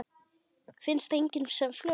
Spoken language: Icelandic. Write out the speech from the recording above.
Finnst einnig sem flögur.